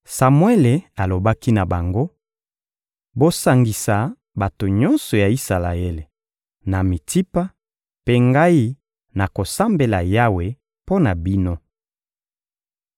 Samuele alobaki na bango: «Bosangisa bato nyonso ya Isalaele, na Mitsipa, mpe ngai nakosambela Yawe mpo na bino.»